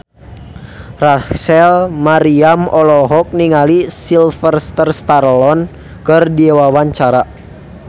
Rachel Maryam olohok ningali Sylvester Stallone keur diwawancara